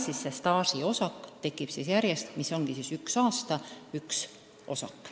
Selles sambas arvestatakse staaži: üks aasta, üks osak.